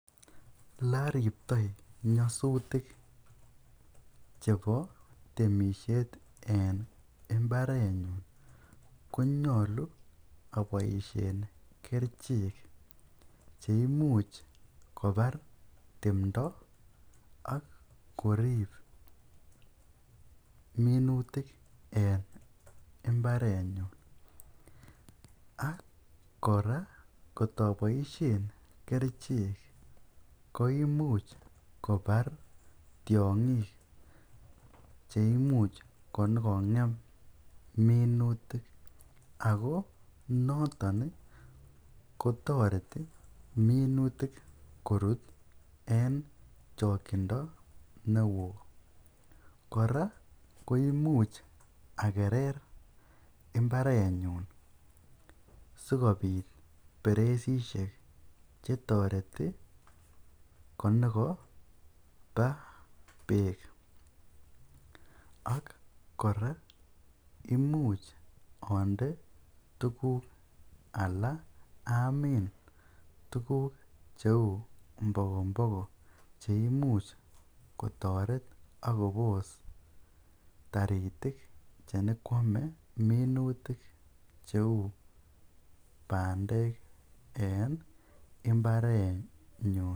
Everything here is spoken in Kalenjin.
Eloriptoi nyosutik chebo temishet en imbarenyun konyolu oboishen kerichek cheimuch kobar timndo ak korib minutik en imbarenyun ak kora kotoboishen kerichek koimuch kobar tiongik cheimuch konyokongem minutik ak ko noton kotoreti minutik korut en chokyindo newo, kora koimuch akerer imbarenyun sikobit bereisishekk chetoreti kontokoba beek ak kora imuch onde tukuk alaa amin tukuk cheuu mbokomboko che imuch kotoret ak kobos taritik chenyokwome minutik cheu bandek en imbarenyun.